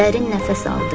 Dərin nəfəs aldı.